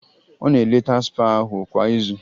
Ọ na-eleta spa ahụ kwa izu